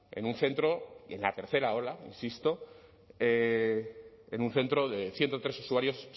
en un centro en la tercera ola insisto en un centro de ciento tres usuarios se